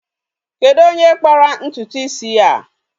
Kedu onye kpara ntụtụ isi ya a?